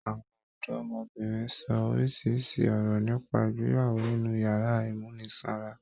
Àwọn ọdọmọbìnrin ṣọ orísirísi ọ̀rọ̀ nípa ìgbéyàwó nínú yàrá ìmúnisanra.